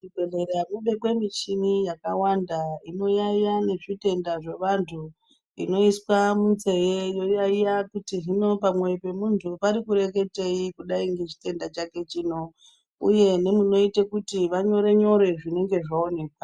Muzvibhedhlera mobekwe muchini yakawanda inoyaiya nezvitenda zveandu inoiswa munzee yoyaiya kuti hino pamwoyo pemundu parikureketeyi kudayi ngechitenda chake chino uye nemunoita kuti vanyore nyore zvinenge zvaonekwa.